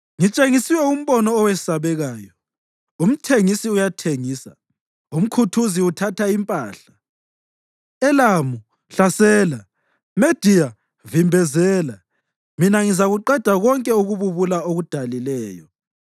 Ngitshengiswe umbono owesabekayo. Umthengisi uyathengisa, umkhuthuzi uthatha impahla. Elamu, hlasela! Mediya, vimbezela! Mina ngizakuqeda konke ukububula akudalileyo.